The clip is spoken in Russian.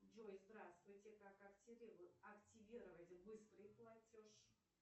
джой здравствуйте как активировать быстрый платеж